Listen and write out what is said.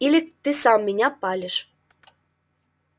или ты сам меня палишь